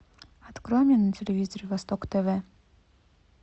открой мне на телевизоре восток тв